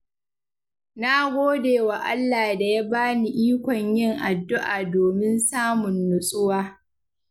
Na gode wa Allah da ya bani ikon yin addu’a domin samun nutsuwa.